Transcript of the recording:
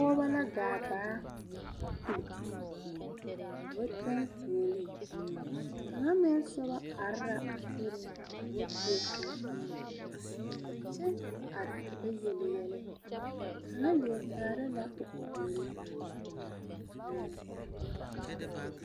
Pɔɔbo la gaa baa a kulo ka ba tɔŋ fooɔlee kaŋa meŋ soba are la a soriŋ o ba tuo bomma kyɛ are ka ba yele yɛlɛ kaŋa lieɛ kaara la o puore sɛŋ.